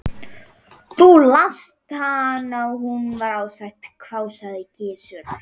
Þú lást hana og hún var ósátt, hváði Gizur.